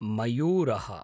मयूरः